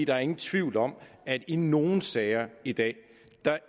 er ingen tvivl om at i nogle sager i dag